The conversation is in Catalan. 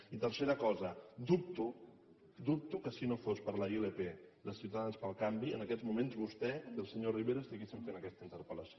i tercera cosa dubto dubto que si no fos per la ilp de ciutadans pel canvi en aquests moments vostè i el senyor rivera estiguessin fent aquesta interpel·lació